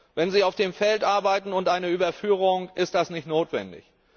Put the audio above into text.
Wenn sie auf dem Feld arbeiten, und bei einer Überführung ist das nicht notwendig.